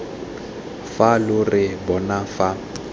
fa lo re bona fa